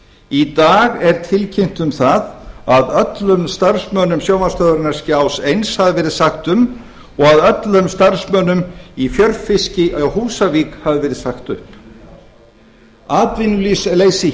í dag er tilkynnt um það að öllum starfsmönnum sjónvarpsstöðvarinnar skjás eins hafi verið sagt upp og að öllum starfsmönnum í fjörfiski á húsavík hafi verið sagt upp atvinnuleysi